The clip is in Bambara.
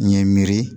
N ye miiri